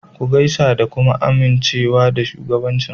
Ku gaisa ka kuma amince da shugabancin.